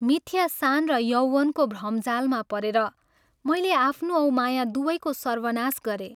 मिथ्या शान र यौवनको भ्रमजालमा परेर मैले आफ्नो औ माया दुवैको सर्वनाश गरेँ।